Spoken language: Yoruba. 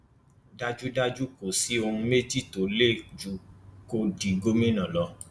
dájúdájú kò sí ohun méjì tó ń lé ju kó di gómìnà lọ